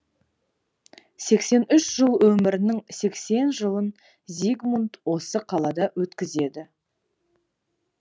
сексен үш жыл өмірінің сексен жылын зигмунд осы қалада өткізеді